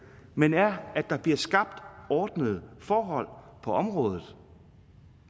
men er at der bliver skabt ordnede forhold på området